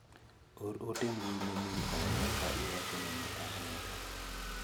Or ote mbui ne min oda ka iwachone ni ahere.